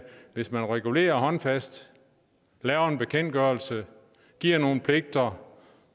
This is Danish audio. hvis man regulerer håndfast laver en bekendtgørelse giver nogle pligter